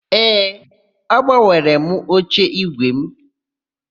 Ee, agbanwere m oche ígwè mụ.